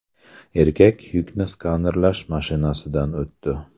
Erkak yukni skanerlash mashinasidan o‘tdi .